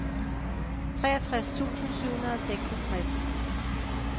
treogtres tusind syv hundrede og seksogtres